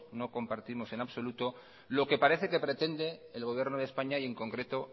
no compartimos en absoluto lo que parece que pretende el gobierno de españa y en concreto